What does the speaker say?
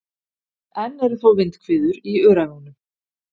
Enn eru þó vindhviður í Öræfunum